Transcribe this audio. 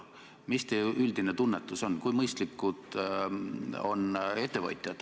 Mis teie üldine tunnetus on, kui mõistlikud ettevõtjad on?